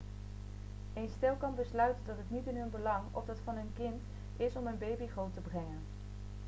een stel kan besluiten dat het niet in hun belang of dat van hun kind is om een baby groot te brengen